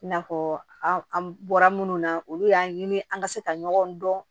I n'a fɔ an an bɔra munnu na olu y'an ɲini an ka se ka ɲɔgɔn dɔn